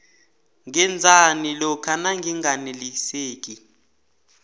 ngenzani lokha nanginganeliseki